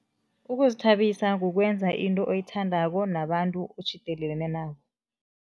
Ukuzithabisa kukwenza into oyithandako nabantu otjhidelelene nabo.